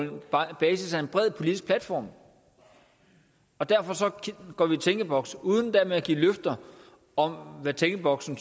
basis af en bred politisk platform derfor går vi i tænkeboks uden dermed at give løfter om hvad tænkeboksen